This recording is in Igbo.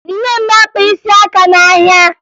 Nne m na-akpa isi aka n'ahịa